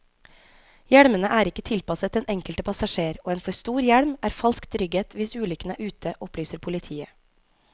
Hjelmene er ikke tilpasset den enkelte passasjer, og en for stor hjelm er falsk trygghet hvis ulykken er ute, opplyser politiet.